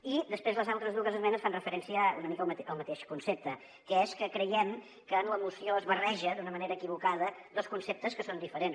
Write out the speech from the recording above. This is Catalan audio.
i després les altres dues esmenes fan referència una mica al mateix concepte que és que creiem que en la moció es barreja d’una manera equivocada dos conceptes que són diferents